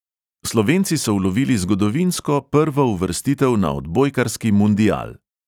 Slovenci so ulovili zgodovinsko prvo uvrstitev na odbojkarski mundial.